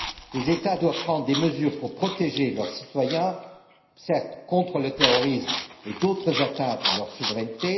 Les États doivent prendre des mesures pour protéger leurs citoyens, certes, contre le terrorisme et d'autres atteintes à leur souveraineté